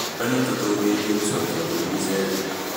Mbura nĩ ĩtutungĩirie cokia mbũri gĩchegũ